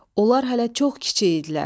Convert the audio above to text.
Onlar hələ çox kiçik idilər.